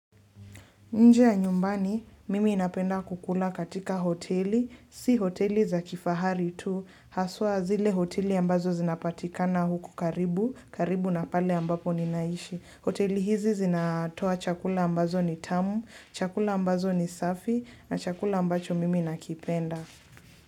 Nje ya nyumbani, mimi napenda kukula katika hoteli, si hoteli za kifahari tu, haswa zile hoteli ambazo zinapatikana huku karibu, karibu na pale ambapo ninaishi. Hoteli hizi zinatoa chakula ambazo ni tamu, chakula ambazo ni safi, na chakula ambacho mimi nakipenda.